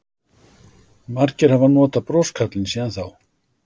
Margir hafa notað broskarlinn síðan þá.